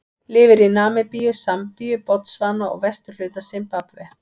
Lifir í Namibíu, Sambíu, Botsvana og vesturhluta Simbabve.